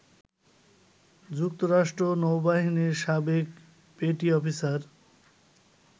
যুক্তরাষ্ট্র নৌবাহিনীর সাবেক পেটি অফিসার